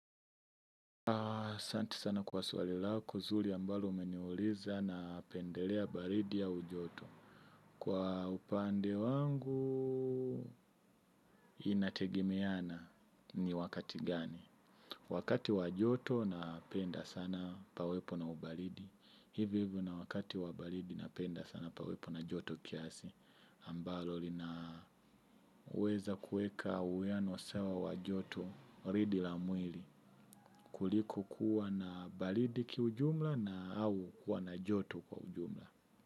Asante sana kwa swali lako, zuri ambalo umeniuliza napendelea baridi au joto. Kwa upande wangu, inategemeana ni wakati gani. Wakati wa joto napenda sana pawepo na ubaridi. Hivi hivi na wakati wa baridi napenda sana pawepo na joto kiasi. Ambalo lina weza kuweka uwiano sawa wa joto baridi la mwili. Kuliko kuwa na baridi kiujumla na au kuwa na joto kwa ujumla.